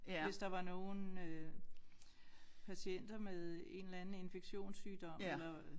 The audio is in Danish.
Hvis der var nogen øh patienter med en eller anden infektionssygdom eller